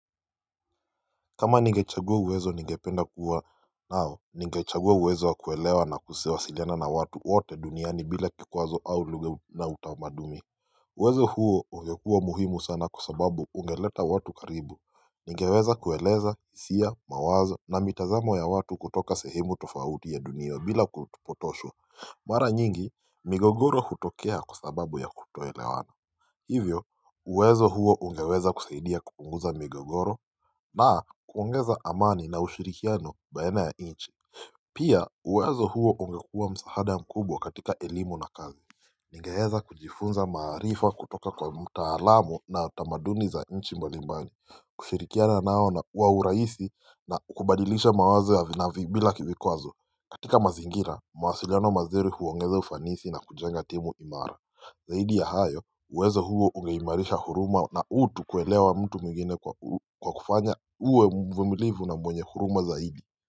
Kama nigechagua uwezo nigependa kuwa nao, nigechagua uwezo wa kuelewa na kuwasiliana na watu wote duniani bila kikwazo au lugha na utamadumi uwezo huo ungekuwa muhimu sana kwa sababu ungeleta watu karibu. Nigeweza kueleza hisia mawazo na mitazamo ya watu kutoka sehemu tofauti ya dunia bila kupotoshwa Mara nyingi migogoro hutokea kwa sababu ya kutoelewana Hivyo uwezo huo ungeweza kusaidia kupunguza migogoro na kuongeza amani na ushirikiano baina ya nchi Pia uwezo huo ungekua msaada ya mkubwa katika elimu na kazi Nigeweza kujifunza maarifa kutoka kwa mtalamu na tamaduni za nchi mbali mbali. Kushirikiana nao na kwa urahisi, na kubadilisha mawazo ya, vi na vi, bila vikwazo. Katika mazingira, mawasiliano mazuri huongeza ufanisi na kujenga timu imara Zaidi ya hayo uwezo huo ungeimarisha huruma na utu, kuelewa mtu mwingine kwa kufanya uwe mvumilivu na mwenye huruma zaidi.